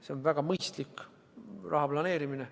See on väga mõistlik raha planeerimine.